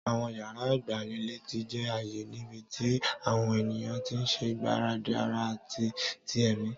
Àwọn yàrá ìgbanilétí jẹ́ ààyè níbi tí àwọn ènìyàn ti ń ṣe ìgbáradì ara àti ti ẹ̀mí.